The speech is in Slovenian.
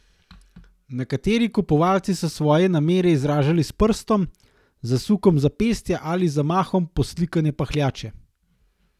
Nekateri kupovalci so svoje namere izražali s prstom, zasukom zapestja ali zamahom poslikane pahljače.